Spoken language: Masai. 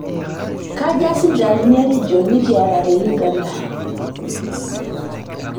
Kajaa sipitalini e rigon nikiaata te Uganda?